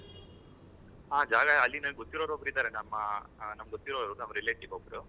ಹಾ ಜಾಗ ಅಲ್ಲಿ ನನಗೆ ಗೊತ್ತಿರಿವವ್ರು ಒಬ್ರು ಇದಾರೆ ನಮ್ ಅಗೊತ್ತಿರಿವವ್ರು relative ಒಬ್ರು